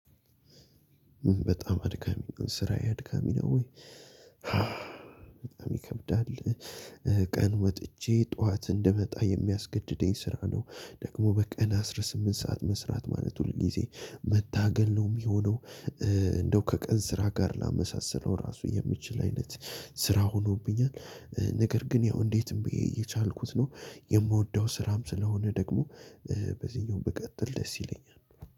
በጣም አድካሚ ስራዬ አድካሚ ነው። በጣም ይከብዳል። ቀን ወጥቼ ጠዋት እንድመጣ የሚያስገድደኝ ስራ ነው ደግሞ በቀን አስራ ስምንት ሰዓት መስራት ማለት ሁል ጊዜ መታገል ነው የሚሆነው። እንደው ከቀን ስራ ጋር ላመሳስለው የምችል አይነት ስራ ሆኖብኛል። ነገር ግን ያው እንዴትም ብየ እየቻልኩት ነው የምወደው ስራም ስለሆነ ደግሞ። በዚህኛው ብቀጥል ደስ ይለኛል።